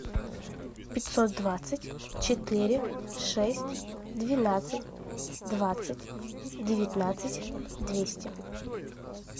пятьсот двадцать четыре шесть двенадцать двадцать девятнадцать двести